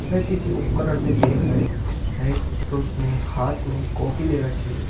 वे किसी उपकरण पे देख रहे है एक पुरुष ने एक हाथ में कॉपी ले रखी--